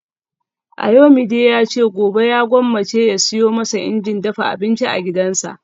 Ayomide yace gobe ya gwammace ya siyo masa injin dafa abinci a gidansa